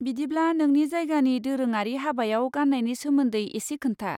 बिदिब्ला, नोंनि जायगानि दोरोङारि हाबायाव गान्नायनि सोमोन्दै एसे खोन्था।